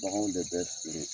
Bagan de bɛ feere!